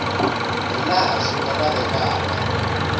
hi laha swi nga lavekaka